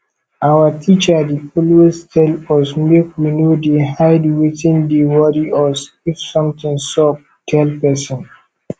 our teacher dey always tell us make we no dey hide wetin dey worry us if something sup tell person